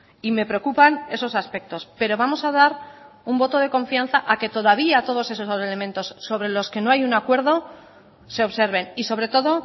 y me preocupan esos aspectos pero vamos a dar un voto de confianza a que todavía todos esos elementos sobre los que no hay un acuerdo se observen y sobre todo